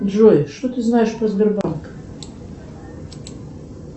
джой что ты знаешь про сбербанк